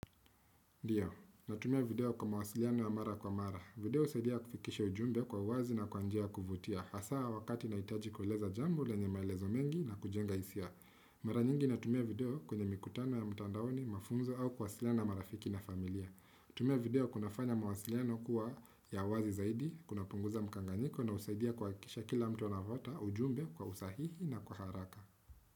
Ndiyo, natumia video kwa mawasiliano ya mara kwa mara. Video usaidia kufikisha ujumbe kwa uwazi na kwa njia ya kuvutia. Hasaa wakati naitaji kuleza jambo lenye maelezo mengi na kujenga hisia. Mara nyingi natumia video kwenye mikutano ya mtandaoni, mafunzo au kwasiliana marafiki na familia. Kutumia video kunafanya mawasiliano kuwa ya wazi zaidi, kuna punguza mkanganiko na usaidia kwa kisha kila mtu na vota ujumbe kwa usahihi na kwa haraka.